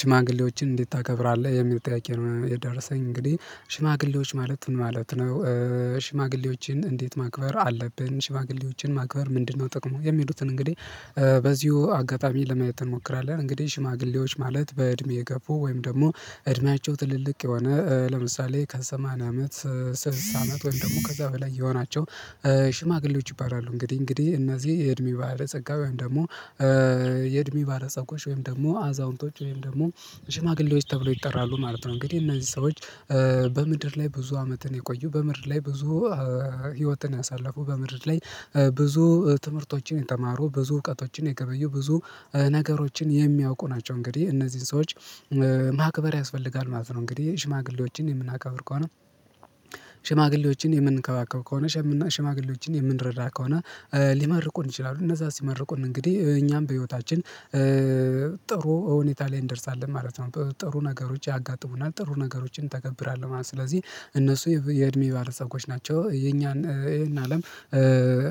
ሽማግሌዎችን እንዴት ታከብራለህ የሚል ጥያቄ ነው የደረሰኝ እንግዲህ ሽማግሌዎች ማለት ምን ማለት ነው ሽማግሌዎችን እንዴት ማክበር አለብን ሽማግሌዎችን ማክበር ምንድነው? ጥቅሙ የሚሉትን እንግዲህ በዚሁ አጋጣሚ ለማየት እንሞክራለን እንግዲህ ሽማግሌዎች ማለት በእድሜ የገፉ ወይም ደግሞ እድሜያቸው ጥልልቅ የሆነ ለምሳሌ ከሰማንያ አመት ስልሳ አመት ወይም ደግሞ ከዛ በላይ የሆናቸው ሽማግሌዎች ይባላሉ እንግዲህ እንግዲህ እነዚህ የእድሜ ባለጸጋ ወይም ደግሞ የእድሜ ባለፀጎች ወይም ደግሞ አዛውንቶች ወይም ደግሞ ሽማግሌዎች ተብሎ ይጠራሉ ማለት ነው። እንግዲህ እነዚህ ሰዎች በምድር ላይ ብዙ አመትን የቆዩ በምድር ላይ ብዙ ህይወትን አሳልፎ በምድር ላይ ብዙ ትምህርቶችን የተማሩ ብዙ እውቀቶችን የገበዩ ብዙ ነገሮችን የሚያውቁ ናቸው እንግዲህ እነዚህን ሰዎች ማክበር ያስፈልጋል ማለት ነው። እንግዲህ ሽማግሌዎችን የምናከብር ከሆነ ሽማግሌዎችን የምንከባከብ ከሆነ ሽማግሌዎችን የምንረዳ ከሆነ ሊመርቁን ይችላሉ እነዛ ሲመርቁን እንግዲህ እኛም በህይወታችን ጥሩ ሁኔታ ላይ እንደርሳለን ማለት ነው ጥሩ ነገሮች ያጋጥሙናል ጥሩ ነገሮችን እንተገብራለሁ ማለት ነው። ስለዚህ እነሱ የእድሜ ባለፀጎች ናቸው የኛን ይሄን አለም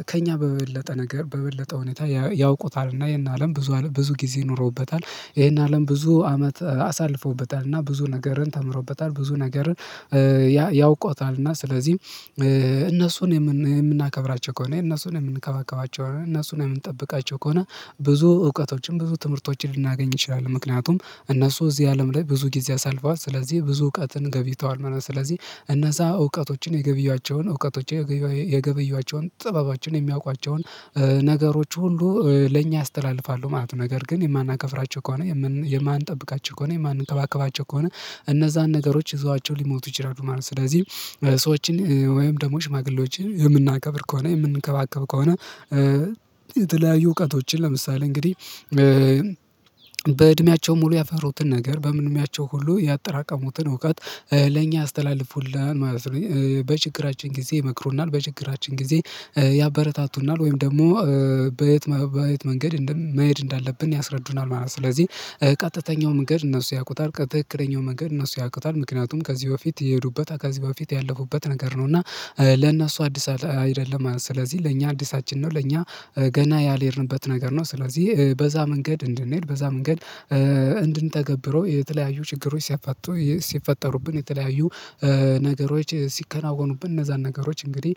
ከእኛ በበለጠ ነገር በበለጠ ሁኔታ ያውቁታል እና ይሄን አለም ብዙ ብዙ ጊዜ ኖሮበታል ይሄን አለም ብዙ አመት አሳልፈውበታል እና ብዙ ነገርን ተምረውበታል ብዙ ነገርን ያይ ያውቁታል። እና ስለዚህ እነሱን የምናከብራቸው ከሆነ እነሱን የምንከባከባቸው እነሱን የምንጠብቃቸው ከሆነ ብዙ እውቀቶችን ብዙ ትምህርቶችን ልናገኝ እንችላለን። ምክንያቱም እነሱ እዚህ አለም ላይ ብዙ ጊዜ አሳልፈዋል ስለዚህ ብዙ እውቀትን ገብይተዋል ምናምን ስለዚህ እነዛ እውቀቶችን የገበዮአቸውን እውቀቶች የገበዮአቸውን ጥበባቸውን የሚያውቋቸውን ነገሮች ሁሉ ለእኛ ያስተላልፋሉ ማለት ነው። ነገር ግን የማናከብራቸው ከሆነ የማንጠብቃቸው ከሆነ የማንከባከባቸው ከሆነ እነዛን ነገሮች ይዘዋቸው ሊሞቱ ይችላሉ ማለት ነው። ስለዚህ ሰዎችን ወይም ደግሞ ሽማግሌዎችን የምናከብር ከሆነ የምንከባከብ ከሆነ የተለያዩ እውቀቶችን ለምሳሌ እንግዲህ በእድሜያቸው ሙሉ ያፈሩትን ነገር በምንምያቸው ሁሉ ያጠራቀሙትን እውቀት ለእኛ ያስተላልፉልናል ማለት ነው በችግራችን ጊዜ ይመክሩናል በችግራችን ጊዜ ያበረታቱናል ወይም ደግሞ በየት በየት መንገድ መሄድ እንዳለብን ያስረዱናል ማለት ነው። ስለዚህ ቀጥተኛው መንገድ እነሱ ያውቁታል ትክክለኛው መንገድ እነሱ ያውቁታል ምክንያቱም ከዚህ በፊት የሄዱበት ከዚህ በፊት ያለፉበት ነገር ነው እና ለእነሱ አዲስ አይደለም ስለዚህ ለእኛ አዲሳችን ነው ለኛ ገና ያልሄድንበት ነገር ነው ስለዚህ በዛ መንገድ እንድንሄድ በዛ መንገድ እንድንተገብረው የተለያዩ ችግሮች ሲፈቱ ሲፈጠሩብን የተለያዩ ነገሮች ሲከናወኑብን እነዛን ነገሮች እንግዲህ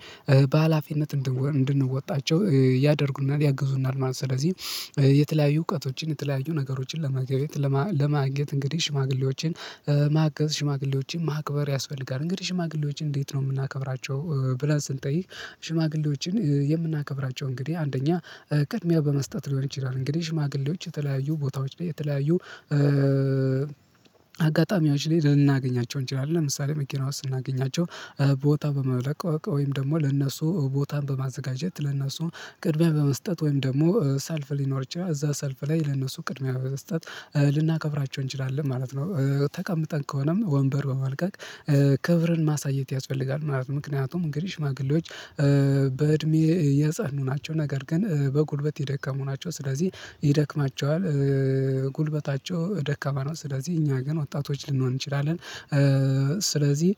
በሃላፊነት እንድንወጣቸው ያደርጉናል ያግዙናል ማለት ነው። ስለዚህ የተለያዩ እውቀቶችን የተለያዩ ነገሮችን ለመገበያየት ለማግኘት እንግዲህ ሽማግሌዎችን ማገዝ ሽማግሌዎችን ማክበር ያስፈልጋል እንግዲህ ሽማግሌዎችን እንዴት ነው? የምናከብራቸው ብለን ስንጠይቅ ሽማግሌዎችን የምናከብራቸው እንግዲህ አንደኛ ቅድሚያ በመስጠት ሊሆን ይችላል። እንግዲህ ሽማግሌዎች የተለያዩ ቦታዎች የተለያዩ አጋጣሚዎች ላይ ልናገኛቸው እንችላለን ለምሳሌ መኪና ውስጥ ስናገኛቸው ቦታ በመለቀቅ ወይም ደግሞ ለእነሱ ቦታን በማዘጋጀት ለነሱ ቅድሚያ በመስጠት ወይም ደግሞ ሰልፍ ሊኖፈር ይችላል እዛ ሰልፍ ላይ ለነሱ ቅድሚያ በመስጠት ልናከብራቸው እንችላለን ማለት ነው። ተቀምጠን ከሆነም ወንበር በመልቀቅ ክብርን ማሳየት ያስፈልጋል ማለት ነው ምክንያቱም እንግዲህ ማግሌዎች በእድሜ የጸኑ ናቸው። ነገር ግን በጉልበት የደከሙ ናቸው ስለዚህ ይደክማቸዋል ጉልበታቸው ደካማ ነው ስለዚህ እኛ ግን ወጣቶች ልንሆን እንችላለን። ስለዚህ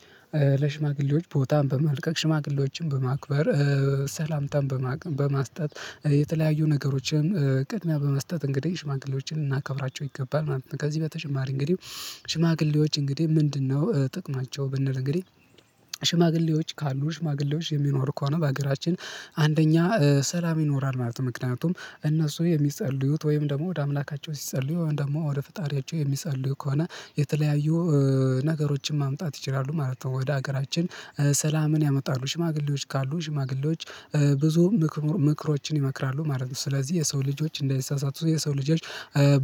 ለሽማግሌዎች ቦታን በመልቀቅ ሽማግሌዎችን በማክበር ሰላምታን በመስጠት የተለያዩ ነገሮችን ቅድሚያ በመስጠት እንግዲህ ሽማግሌዎችን ልናከብራቸው ይገባል። ከዚህ በተጨማሪ እንግዲህ ሽማግሌዎች እንግዲህ ምንድነው? ጥቅማቸው ብንል እንግዲህ ሽማግሌዎች ካሉ ሽማግሌዎች የሚኖሩ ከሆነ በሀገራችን አንደኛ ሰላም ይኖራል ማለት ነው። ምክንያቱም እነሱ የሚጸልዩት ወይም ደግሞ ወደ አምላካቸው ሲጸልዩ ወይም ደግሞ ወደ ፈጣሪያቸው የሚጸልዩ ከሆነ የተለያዩ ነገሮችን ማምጣት ይችላሉ ማለት ነው። ወደ ሀገራችን ሰላምን ያመጣሉ ሽማግሌዎች ካሉ ሽማግሌዎች ብዙም ምክሮችን ይመክራሉ ማለት ነው ስለዚህ የሰው ልጆች እንዳይሳሳቱ የሰው ልጆች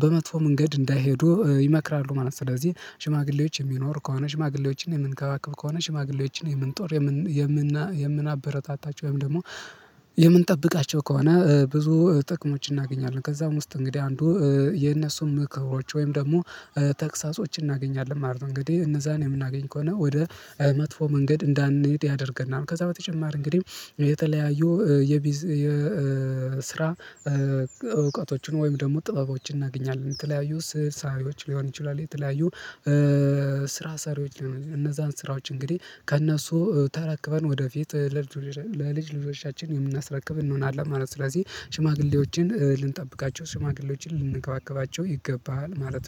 በመጥፎ መንገድ እንዳይሄዱ ይመክራሉ ማለት ነው። ስለዚህ ሽማግሌዎች የሚኖሩ ከሆነ ሽማግሌዎችን የምንከባክብ ከሆነ ሽማግሌዎችን የምንጦር የምንናበረታታቸው ወይም ደግሞ የምንጠብቃቸው ከሆነ ብዙ ጥቅሞች እናገኛለን ከዛም ውስጥ እንግዲህ አንዱ የነሱን ምክሮች ወይም ደግሞ ተግሳጾችን እናገኛለን ማለት ነው። እንግዲህ እነዛን የምናገኝ ከሆነ ወደ መጥፎ መንገድ እንዳንሄድ ያደርገናል ከዛ በተጨማሪ እንግዲህ የተለያዩ የቢዝ የስራ እውቀቶችን ወይም ደግሞ ጥበቦችን እናገኛለን ተለያዩ ስህል ስአሊዎች ሊሆን ይችላል የተለያዩ ስራ ሰሪዎች ሊሆኑ እነዛን ስራዎች እንግዲህ ከእነሱ ተረክበን ወደፊት ለልጅ ልጆቻችን የምናስረክብ እንሆናለን ማለት ነው። ስለዚህ ሽማግሌዎችን ልንጠብቃቸው ሽማግሌዎችን ልንከባከባቸው ይገባል ማለት